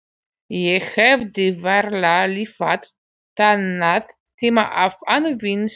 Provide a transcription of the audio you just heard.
Ég hefði varla lifað þennan tíma af án víns.